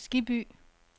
Skibby